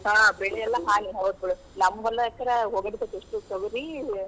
ಹೌದ್ ಬಿಡ್ ನಮ್ಮ್ ಹೊಲ ಅಂಕರ್ ಹೋಗೆಬಿಟ್ಟೇತಿ ಇಷ್ಟೂ ತೋಗರಿ.